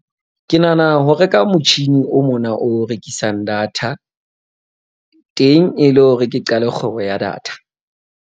Ke nahana ho reka motjhini o mona o rekisang data teng e le hore ke qale kgwebo ya data.